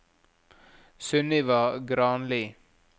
Sunniva Granli